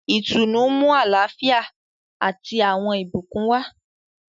Ìtùnú nmu àlàáfíà ati awọn ìbùkún wa.